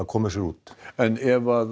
koma sér út en ef